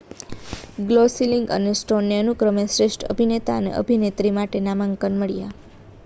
Gosling અને સ્ટોનને અનુક્રમે શ્રેષ્ઠ અભિનેતા અને અભિનેત્રી માટે નામાંકન મળ્યાં